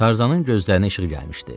Tarzanın gözlərinə işıq gəlmişdi.